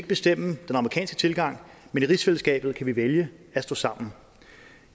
bestemme den amerikanske tilgang men i rigsfællesskabet kan vi vælge at stå sammen